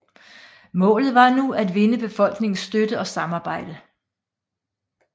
Målet var nu at vinde befolkningens støtte og samarbejde